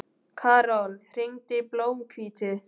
Karol, hringdu í Blómhvíti.